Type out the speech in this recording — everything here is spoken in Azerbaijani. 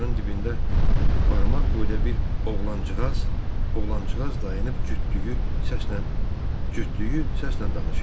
Divarın dibində barmaq boyda bir oğlancığaz dayanıb, cütdüyü səslə danışırdı.